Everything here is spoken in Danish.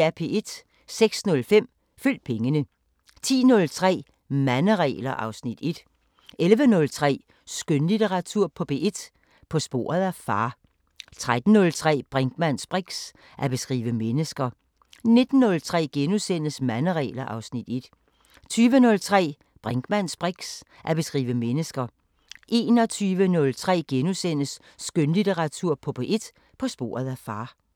06:05: Følg pengene 10:03: Manderegler (Afs. 1) 11:03: Skønlitteratur på P1: På sporet af far 13:03: Brinkmanns briks: At beskrive mennesker 19:03: Manderegler (Afs. 1)* 20:03: Brinkmanns briks: At beskrive mennesker 21:03: Skønlitteratur på P1: På sporet af far *